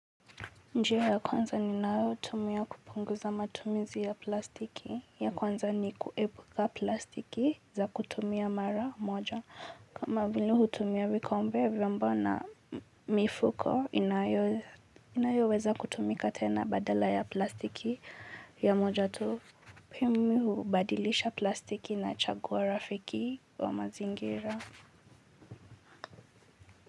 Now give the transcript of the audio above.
Njia ya kwanza ninayoutumia kupunguza matumizi ya plastiki ya kwanza ni kuepuka plastiki za kutumia mara moja. Kama vile hutumia vikombe vyombo na mifuko inayo inayoweza kutumika tena badala ya plastiki ya moja tu. Pia mimiuhubadilisha plastiki nachagua rafiki wa mazingira.